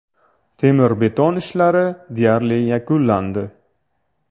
Temir-beton ishlari deyarli yakunlandi.